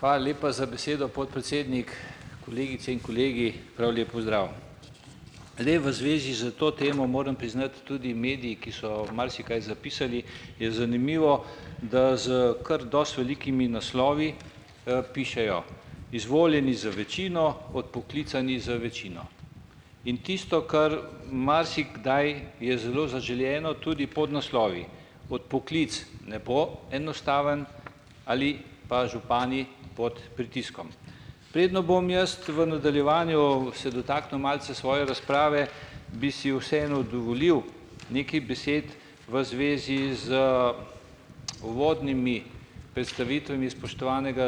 Hvala lepa za besedo, podpredsednik, kolegice in kolegi, prav lep pozdrav! Zdaj v zvezi s to temo moram priznati, tudi mediji, ki so marsikaj zapisali, je zanimivo, da s kar dosti velikimi, naslovi, pišejo, izvoljeni z večino, odpoklicani z večino. In tisto, kar marsikdaj je zelo zaželeno, tudi podnaslovi. Odpoklic ne bo enostaven, ali pa Župani pod pritiskom. Preden bom jaz v nadaljevanju se dotaknil malce svoje razprave, bi si vseeno dovolil nekaj besed v zvezi z uvodnimi predstavitvami spoštovanega,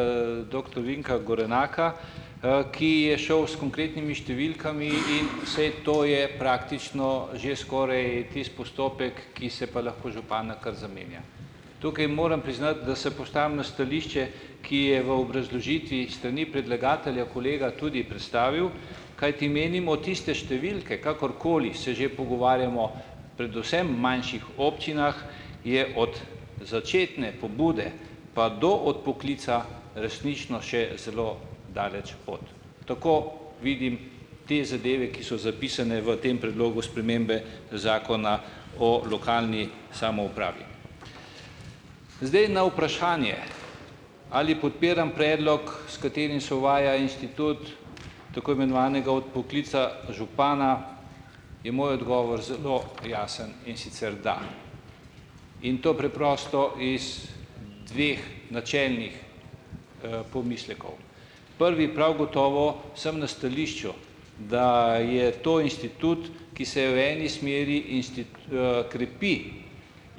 doktor Vinka Gorenaka, ki je šel s konkretnimi številkami in saj to je praktično že skoraj tisti postopek, ki se pa lahko župana kar zamenja. Tukaj moram priznati, da se postavim na stališče, ki je v obrazložitvi s strani predlagatelja kolega tudi predstavil, kajti menimo tiste številke, kakor koli se že pogovarjamo predvsem manjših občinah je od začetne pobude pa do odpoklica resnično še zelo daleč pot. Tako vidim te zadeve, ki so zapisane v tem predlogu spremembe Zakona o lokalni samoupravi. Zdaj, na vprašanje, ali podpiram predlog, s katerim se uvaja institut tako imenovanega odpoklica župana, je moj odgovor zelo jasen, in sicer: da. In to preprosto iz dveh načelnih, pomislekov, prvi prav gotovo sem na stališču, da je to institut, ki se v eni smeri krepi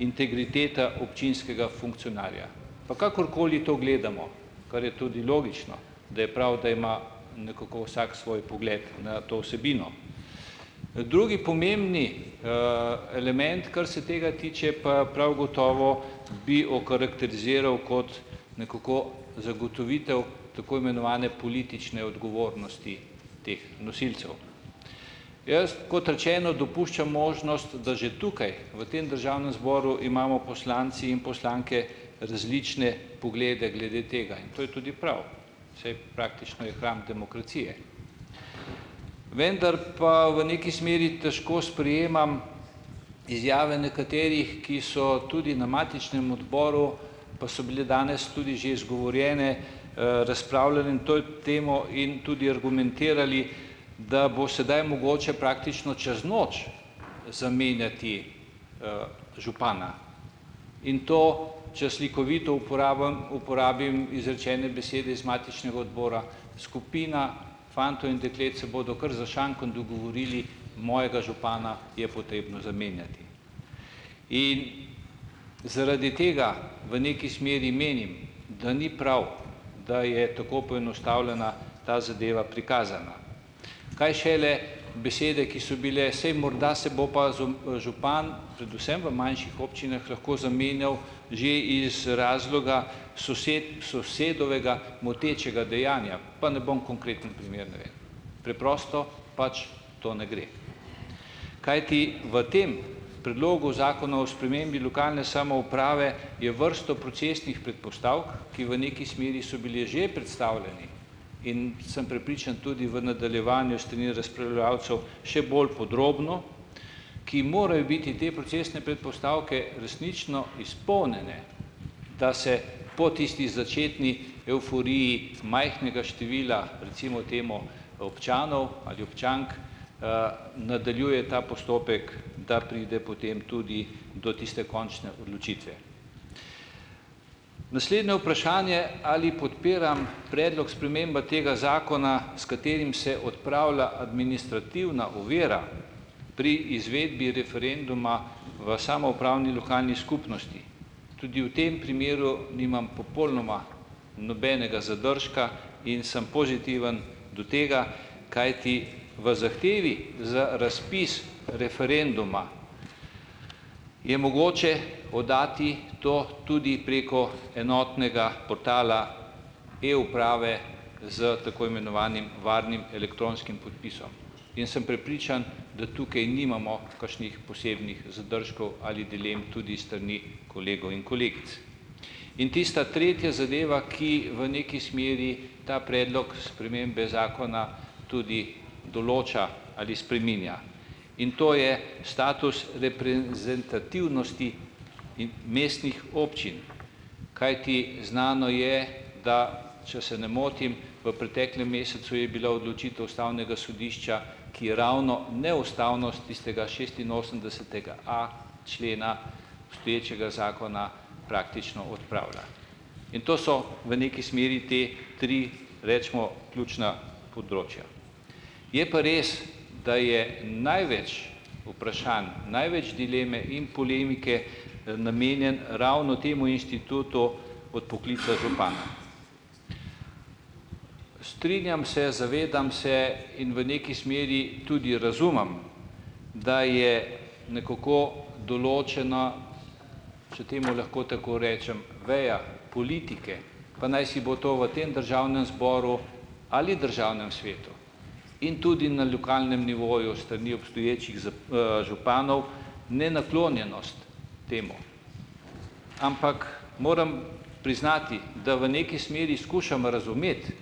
integriteta občinskega funkcionarja, pa kakorkoli to gledamo, kar je tudi logično, da je prav, da ima nekako vsak svoj pogled na to vsebino. Drugi pomembni, element, kar se tega tiče, pa prav gotovo bi okarakteriziral kot nekako zagotovitev tako imenovane politične odgovornosti teh nosilcev. Jaz, kot rečeno, dopuščam možnost, da že tukaj v tem državnem zboru imamo poslanci in poslanke različne poglede glede tega, in to je tudi prav, saj praktično je hram demokracije. Vendar pa v neki smeri težko sprejemam izjave nekaterih, ki so tudi na matičnem odboru pa so bile danes tudi že izgovorjene, temo in tudi argumentirali, da bo sedaj mogoče praktično čez noč zamenjati župana. In to, če slikovito uporabim uporabim izrečene besede iz matičnega odbora, skupina fantov in deklet se bodo kar za šankom dogovorili: "Mojega župana je potrebno zamenjati." In zaradi tega v neki smeri menim, da ni prav, da je tako poenostavljena ta zadeva prikazana, kaj šele besede, ki so bile, saj morda se bo pa župan, predvsem v manjših občinah lahko zamenjal že iz razloga sosedovega motečega dejanja, pa ne bom konkreten primer. Preprosto pač to ne gre. Kajti v tem predlogu Zakona o spremembi lokalne samouprave je vrsto procesnih predpostavk, ki v neki smeri so bili že predstavljeni, in sem prepričan tudi v nadaljevanju še bolj podrobno, ki morajo biti te procesne predpostavke resnično izpolnjene, da se po tisti začetni evforiji majhnega števila, recimo temu občanov ali občank, nadaljuje ta postopek, da pride potem tudi do tiste končne odločitve. Naslednje vprašanje, ali podpiram predlog spremembe tega zakona, s katerim se odpravlja administrativna ovira pri izvedbi referenduma v samoupravni lokalni skupnosti, tudi v tem primeru nimam popolnoma nobenega zadržka in sem pozitiven do tega, kajti v zahtevi za razpis referenduma je mogoče oddati to tudi preko enotnega portala e-uprave s tako imenovanim varnim elektronskim podpisom in sem prepričan, da tukaj nimamo kakšnih posebnih zadržkov ali dilem tudi s strani kolegov in kolegic. In tista tretja zadeva, ki v neki smeri ta predlog spremembe zakona tudi določa ali spreminja, in to je status reprezentativnosti in mestnih občin, kajti znano je, da, če se ne motim, v preteklem mesecu je bila odločitev ustavnega sodišča, ki je ravno neustavnost tistega šestinosemdesetega a člena obstoječega zakona praktično odpravila. In to so v neki smeri ta tri, recimo ključna področja. Je pa res, da je največ vprašanj, največ dileme in polemike, namenjeno ravno temu institutu odpoklica župana . Strinjam se, zavedam se in v neki smeri tudi razumem, da je nekoliko določena, če temu lahko tako rečem veja politike, pa najsi bo to v tem državnem zboru ali v državnem svetu in tudi na lokalnem nivoju s strani obstoječih županov, nenaklonjenost temu, ampak moram priznati, da v neki smeri skušam razumeti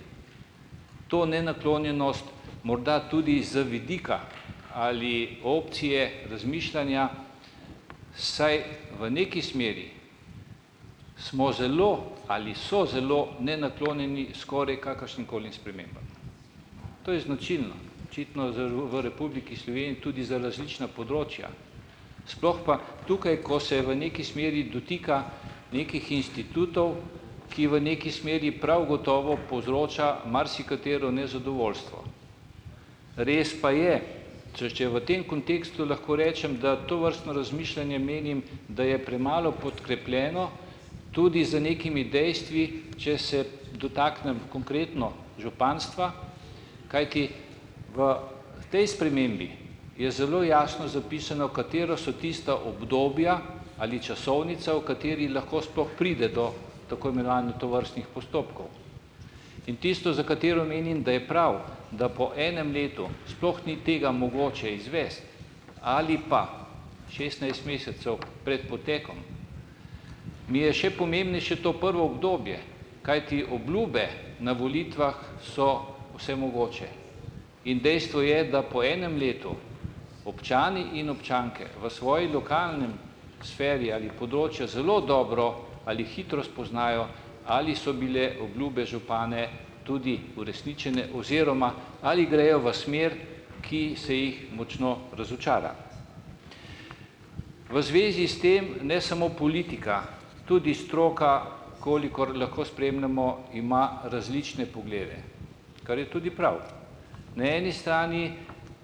to nenaklonjenost morda tudi z vidika ali opcije razmišljanja, saj v neki smeri smo zelo ali so zelo nenaklonjeni skoraj kakršnimkoli spremembam. To je značilno tudi za različna področja, sploh pa tukaj, ko se v neki smeri dotika nekih institutov, ki v neki smeri prav gotovo povzročajo marsikatero nezadovoljstvo. Res pa je, če če v tem kontekstu lahko rečem, da tovrstno razmišljanje, menim, da je premalo podkrepljeno tudi z nekimi dejstvi, če se dotaknem konkretno županstva, kajti v tej spremembi je zelo jasno zapisano, katera so tista obdobja ali časovnica, v kateri lahko sploh pride do tako imenovane tovrstnih postopkov. In tisto, za katero menim, da je prav, da po enem letu sploh ni tega mogoče izvesti ali pa šestnajst mesecev pred potekom, mi je še pomembnejše to prvo obdobje, kajti obljube na volitvah so vse mogoče, in dejstvo je, da po enem letu občani in občanke v svoji lokalni sferi ali področju zelo dobro ali hitro spoznajo, ali so bile obljube županov tudi uresničene oziroma ali grejo v smer, ki se jih močno razočara. V zvezi s tem ne samo politika, tudi stroka, kolikor lahko spremljamo, ima različne poglede, kar je tudi prav. Na eni strani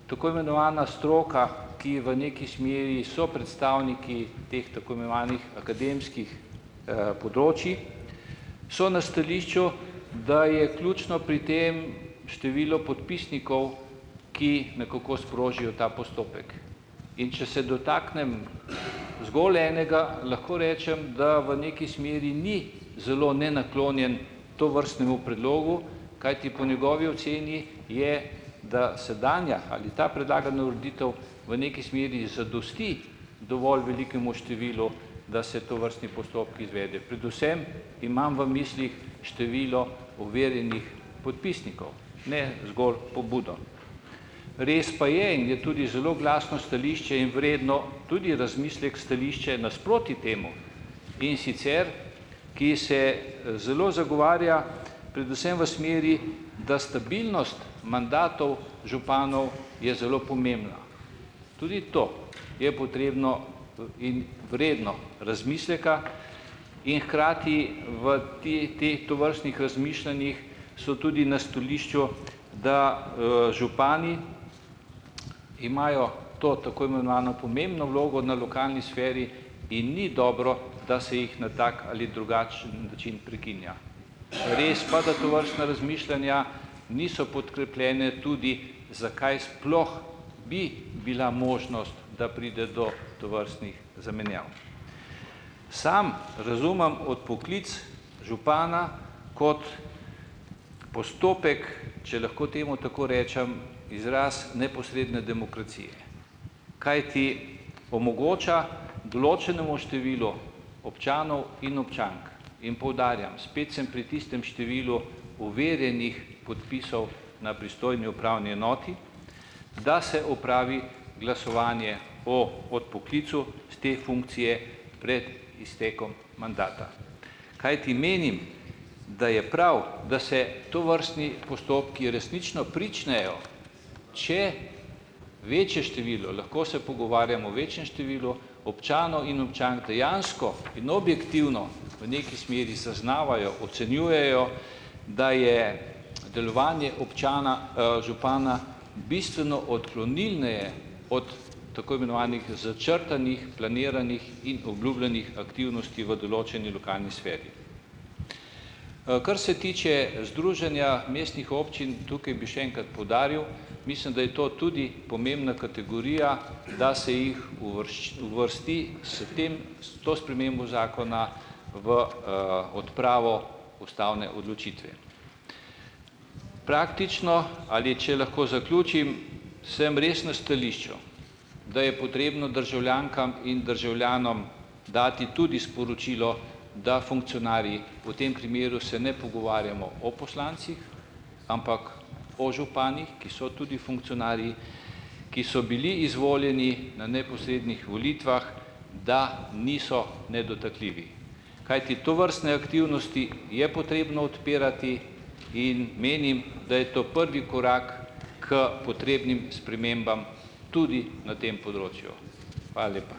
tako imenovana stroka, ki v neki smeri so predstavniki teh akademskih področij so na stališču, da je ključno pri tem število podpisnikov, ki nekako sprožijo ta postopek. In če se dotaknem zgolj enega, lahko rečem, da v neki smeri ni zelo nenaklonjen tovrstnemu predlogu, kajti po njegovi oceni je, da sedanja ali ta predlagana ureditev v neki smeri zadosti dovolj velikemu številu, da se tovrstni postopek izvede, predvsem imam v mislih število overjenih podpisnikov, ne zgolj pobudo. Res pa je in je tudi zelo glasno stališče in vredno tudi razmisleka stališče nasproti temu, in sicer, ki se, zelo zagovarja predvsem v smeri, da stabilnost mandatov županov je zelo pomembna. Tudi to je potrebno, in vredno razmisleka in hkrati v tovrstnih razmišljanjih so tudi na stališču, da, župani imajo to tako imenovano pomembno vlogo na lokalni sferi in ni dobro, da se jih na tak ali drugačen način prekinja. Res pa, da tovrstna razmišljanja niso podkrepljena, tudi zakaj sploh bi bila možnost, da pride do tovrstnih zamenjav. Sam razumem odpoklic župana kot postopek, če lahko temu tako rečem, izraz neposredne demokracije, kajti omogoča določenemu številu občanov in občank in poudarjam, spet sem pri tistem številu overjenih podpisov na pristojni upravni enoti, da se opravi glasovanje o odpoklicu s te funkcije pred iztekom mandata, kajti menim, da je prav, da se tovrstni postopki resnično pričnejo, če večje število, lahko se pogovarjamo o večjem številu občanov in občank dejansko in objektivno v neki smeri zaznavajo, ocenjujejo, da je delovanje občana, župana bistveno odklonilneje od tako imenovanih začrtanih, planiranih in obljubljenih aktivnosti v določeni lokalni sferi. Kar se tiče Združenja mestnih občin, tukaj bi še enkrat poudaril, mislim, da je to tudi pomembna kategorija, da se jih uvrsti s tem, s to spremembo zakona v, odpravo ustavne odločitve. Praktično, ali če lahko zaključim, sem res na stališču, da je potrebno državljankam in državljanom dati tudi sporočilo, da funkcionarji, v tem primeru se ne pogovarjamo o poslancih, ampak o županih, ki so tudi funkcionarji, ki so bili izvoljeni na neposrednih volitvah, da niso nedotakljivi. Kajti tovrstne aktivnosti je potrebno odpirati, in menim, da je to pravi korak k potrebnim spremembam tudi na tem področju. Hvala lepa.